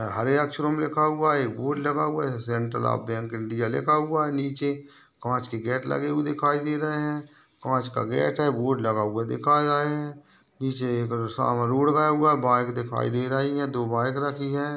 हरे अक्षरों में लिखा हुआ है एक बोर्ड लगा हुआ है सेंट्रल ऑफ़ बैंक इंडिया लिखा हुआ है नीचे काँच के गेट लगे हुए दिखाई दे रहे है काँच का गेट है बोर्ड लगा हुआ दिखा रहे है नीचे एक सामने रोड़ गया हुआ है बाइक दिखाई दे रही है दो बाइक रखी है।